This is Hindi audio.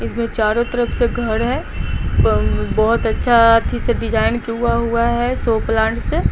इसमें चारों तरफ से घर है बोहोत अच्छा थी से डिज़ाइन किउआ हुआ है सो प्लांट से--